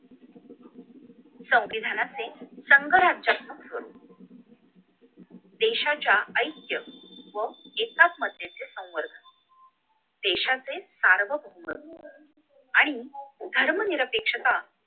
संविधानातले संघ राज्य देशाच्या ऐतक्य व एकाच मध्याचे संपर्कात आहे देशाचे सार्वभौम आणि धर्मनिरपेक्षता